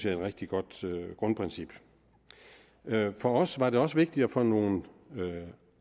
et rigtig godt grundprincip for os var det også vigtigt at få nogle